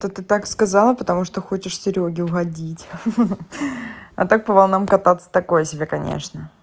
то ты так сказала потому что хочешь серёге угодить ха-ха а так по волнам кататься такое себя конечно